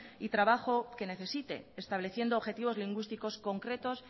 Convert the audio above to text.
y trabaja que necesite estableciendo objetivos lingüísticos concretos